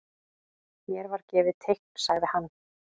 Mér var gefið teikn sagði hann.